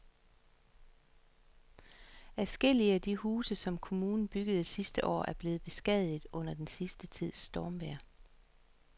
Adskillige af de huse, som kommunen byggede sidste år, er blevet beskadiget under den sidste tids stormvejr.